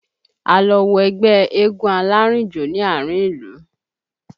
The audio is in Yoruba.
A lọ wo ẹgbẹ́ eégún alárìnjó ní àárín ìlú